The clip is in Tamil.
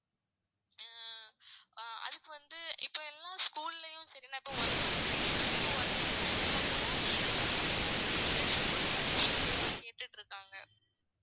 ஆஹ் அதுக்கு வந்து இப்ப எல்லா school ளையும் சரி நான் இப்ப work பண்ணிகிட்டு இருக்கேன் ma'am இப்ப நான் work பண்ற இடத்துல கூட ஆஹ் நீங்க வந்து injections போட்டு certificates லாம் கேட்டுட்டு இருக்காங்க